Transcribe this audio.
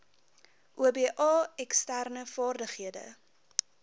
oba eksterne vaardighede